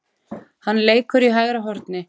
Hann leikur í hægra horni.